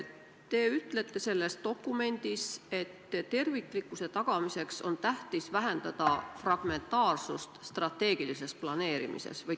Te ütlete selles dokumendis, et terviklikkuse tagamiseks on tähtis vähendada fragmentaarsust või killustatust strateegilises planeerimises.